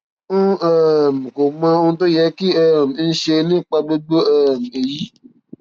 n um kò mọ ohun tó yẹ kí um n ṣe nípa gbogbo um èyí